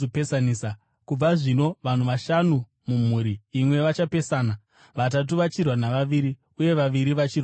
Kubva zvino vanhu vashanu mumhuri imwe vachapesana, vatatu vachirwa navaviri uye vaviri vachirwa navatatu.